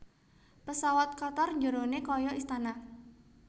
Pesawat Qatar njerone koyo istana